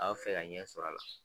A b'a fɛ ka ɲɛ sɔr'a la